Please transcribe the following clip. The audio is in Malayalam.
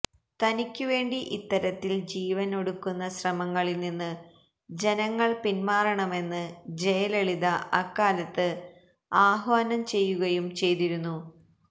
തനിക്കുവേണ്ടി ഇത്തരത്തിൽ ജീവനൊടുക്കുന്ന ശ്രമങ്ങളിൽ നിന്ന് ജനങ്ങൾ പിന്മാറണമെന്ന് ജയലളിത അക്കാലത്ത് ആഹ്വാനം ചെയ്യുകയും ചെയ്തിരുന്നു